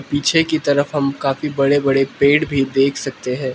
पीछे की तरफ हम काफी बड़े बड़े पेड़ भी देख सकते हैं।